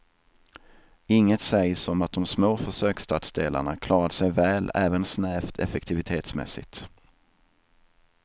Inget sägs om att de små försöksstadsdelarna klarat sig väl även snävt effektivitetsmässigt.